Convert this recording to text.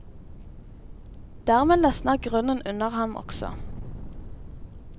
Dermed løsner grunnen under ham også.